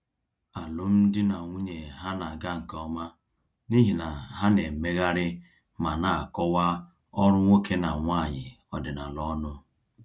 Alụmdi na nwunye ha na-aga nke ọma n’ihi na ha na-emegharị ma na-akọwa ọrụ nwoke na nwanyị ọdịnala ọnụ.